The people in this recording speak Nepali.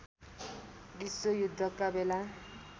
विश्व युद्धका बेला